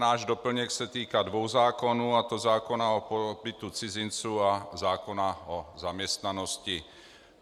Náš doplněk se týká dvou zákonů, a to zákona o pobytu cizinců a zákona o zaměstnanost.